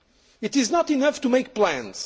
It is not enough to make plans.